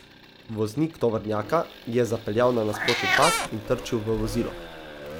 Voznik tovornjaka je zapeljal na nasprotni pas in trčil v vozilo.